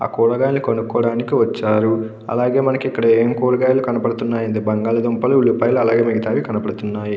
ఆ కూరగాయలు కొనుక్కోడానికి వచ్చారు అలాగే మనకి ఏం కూరగాయలు కనబడుతున్నాయి అంటే బంగాళదుంపలు ఉల్లిపాయలు అలాగే మిగతావి కనబడుతున్నాయి.